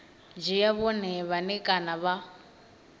dzhia vhone vhane kana vha